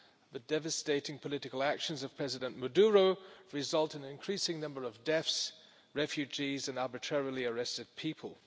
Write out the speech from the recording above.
The devastating political actions of President Maduro have resulted in an increasing number of deaths, refugees and arbitrarily arrested people.